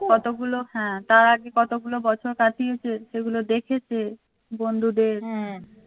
কতগুলো তার আগে কতগুলো বছর কাটিয়েছে সেগুলো দেখেছে. বন্ধুদের